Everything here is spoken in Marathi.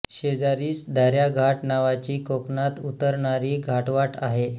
शेजारीच दाऱ्या घाट नावाची कोकणात उतरणारी घाटवाट आहे